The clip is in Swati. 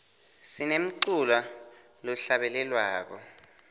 sinemculo lohlabelelwako